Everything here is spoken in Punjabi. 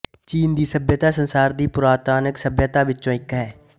ਚੀਨ ਦੀ ਸੱਭਿਅਤਾ ਸੰਸਾਰ ਦੀਆਂ ਪੁਰਾਤਨਤਮ ਸੱਭਿਅਤਾਵਾਂ ਵਿੱਚੋਂ ਇੱਕ ਹੈ